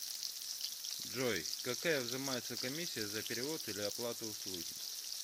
джой какая взимается комиссия за перевод или оплату услуги